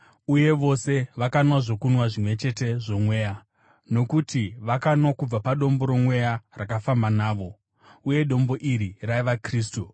uye vose vakanwa zvokunwa zvimwe chete zvomweya; nokuti vakanwa kubva padombo romweya rakafamba navo, uye dombo iri raiva Kristu.